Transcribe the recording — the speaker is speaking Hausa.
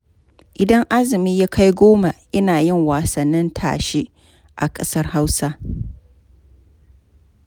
Idan azumi ya kai goma, ana yin wasannin tashe a ƙasar Hausa.